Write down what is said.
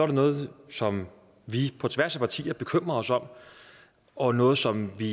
det noget som vi på tværs af partier bekymrer os om og noget som vi